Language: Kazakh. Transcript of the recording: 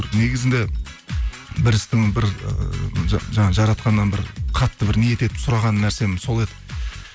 негізінде бір істің бір ііі жаңағы жаратқаннан бір қатты бір ниет етіп сұраған нәрсем сол еді